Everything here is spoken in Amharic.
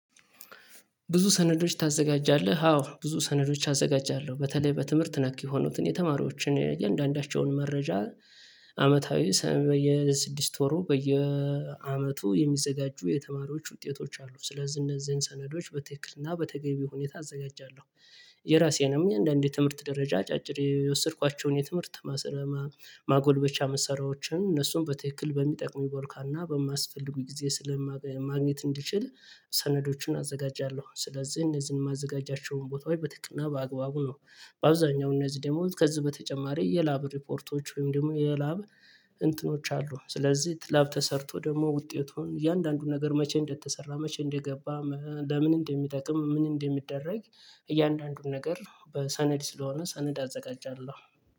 ብዙ ሰነዶች ታዘጋጃለህ አዎ ብዙ ሰነዶች አዘጋጃለሁ በተለይ በትምህርት ነክ የሆኑትን የተማሪዎችን እያንዳንዳቸውን መረጃ አመታዊ ሰም በየስድስት ወሩ በየአመቱ የሚዘጋጁ የተማሪዎች ውጤቶች አሉ ስለዚህ እነዚህን ሰነዶች በትክክልና በተገቢ ሁኔታ አዘጋጃለሁ። የራሴንም እንደአንድ የትምህርት ደረጃ አጫጭር የወሰድኳቸውን የትምህርት ማሰለማ ማጎልበቻ መሰራዎችን እነሱን በትክክል በሚጠቅሙኝ ቦርካና በማስፈልጉኝ ጊዜ ማግኘት እንዲችል ሰነዶችን አዘጋጃለሁ ስለዚህ እነዚህን የማዘጋጃቸውን ቦታ ወይ በተጨናግነው በአግባቡ ነው። በአብዛኛው እነዚህ ደግሞ ከዚህ በተጨማሪ የላብ ሪፖርቶች ወይም ደግሞ የላብ እንትኖች አሉ። ስለዚህ ላብ ተሰርቶ ደግሞ ውጤቱን እያንዳንዱን ነገር መቼ እንደተሰራ መቼ እንደገባ ለምን እንደሚጠቅም ምን እንደሚደረግ። እያንዳንዱን ነገር በሰነድ ስለሆነ ሰነድ አዘጋጃለሁ